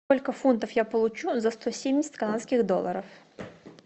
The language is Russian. сколько фунтов я получу за сто семьдесят канадских долларов